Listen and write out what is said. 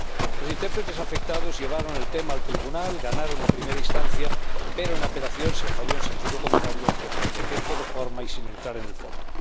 Los intérpretes afectados llevaron el tema al Tribunal, ganaron en primera instancia, pero en apelación se falló en sentido contrario, aunque por defecto de forma y sin entrar en el fondo.